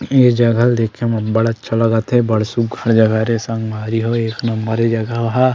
ए जगा ल देखे म अबड़ अच्छा लगत हे बड़ सुघघर जगह हरे संगवारी हो ए जगह ह।